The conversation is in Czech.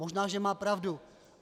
Možná že má pravdu.